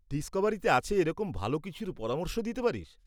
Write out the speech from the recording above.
ডিসকভারিতে আছে এরকম ভালো কিছুর পরামর্শ দিতে পারিস?